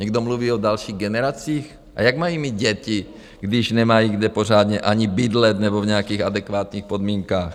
Někdo mluví o dalších generacích, a jak mají mít děti, když nemají, kde pořádně ani bydlet nebo v nějakých adekvátních podmínkách?